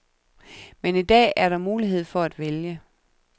Men i dag er der mulighed for at vælge.